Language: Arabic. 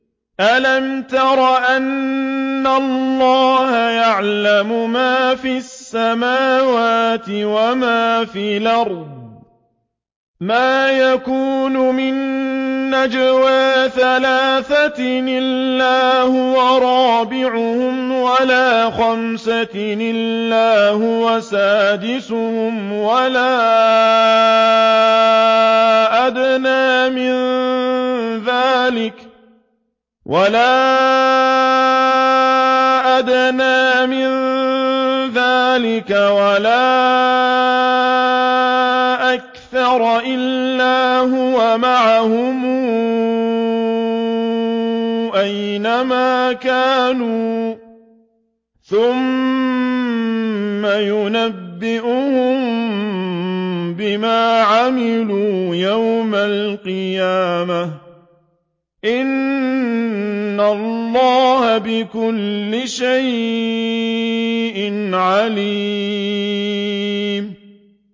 أَلَمْ تَرَ أَنَّ اللَّهَ يَعْلَمُ مَا فِي السَّمَاوَاتِ وَمَا فِي الْأَرْضِ ۖ مَا يَكُونُ مِن نَّجْوَىٰ ثَلَاثَةٍ إِلَّا هُوَ رَابِعُهُمْ وَلَا خَمْسَةٍ إِلَّا هُوَ سَادِسُهُمْ وَلَا أَدْنَىٰ مِن ذَٰلِكَ وَلَا أَكْثَرَ إِلَّا هُوَ مَعَهُمْ أَيْنَ مَا كَانُوا ۖ ثُمَّ يُنَبِّئُهُم بِمَا عَمِلُوا يَوْمَ الْقِيَامَةِ ۚ إِنَّ اللَّهَ بِكُلِّ شَيْءٍ عَلِيمٌ